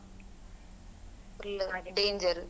Full uh danger .